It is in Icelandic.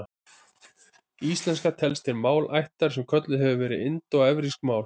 Íslenska telst til málaættar sem kölluð hefur verið indóevrópsk mál.